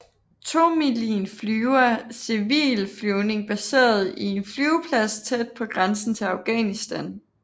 Tomilin flyver civil flyvning baseret i en flyveplads tæt på grænsen til Afghanistan